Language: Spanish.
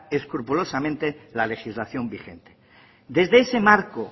escrupulosamente la legislación vigente desde ese marco